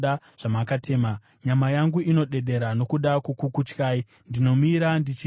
Nyama yangu inodedera nokuda kwokukutyai; ndinomira ndichitya mirayiro yenyu.